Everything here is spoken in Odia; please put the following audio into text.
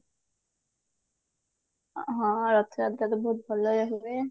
ହଁ ରଥ ଯାତ୍ରା ବି ବହୁତ ଭଲରେ ହୁଏ